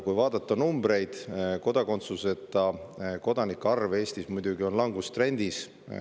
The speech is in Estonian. Vaatame numbreid: kodakondsuseta arv on Eestis muidugi langustrendis.